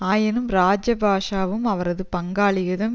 ஆயினும் இராஜபக்ஷவும் அவரது பங்காளிகளும்